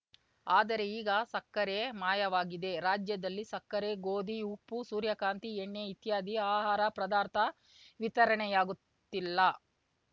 ಆದರೆ ಈಗ ಸಕ್ಕರೆ ಮಾಯವಾಗಿದೆ ರಾಜ್ಯದಲ್ಲಿ ಸಕ್ಕರೆ ಗೋಧಿ ಉಪ್ಪು ಸೂರ್ಯಕಾಂತಿ ಎಣ್ಣೆ ಇತ್ಯಾದಿ ಆಹಾರ ಪದಾರ್ಥ ವಿತರಣೆಯಾಗುತ್ತಿಲ್ಲ